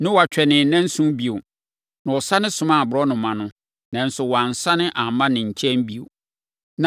Noa twɛnee nnanson bio, na ɔsane somaa aborɔnoma no, nanso wansane amma ne nkyɛn bio.